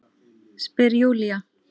Spyr Júlía.